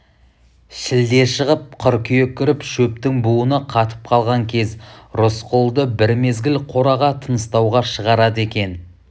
шілде шығып қыркүйек кіріп шөптің буыны қатып қалған кез рысқұлды бір мезгіл қораға тыныстауға шығарады екі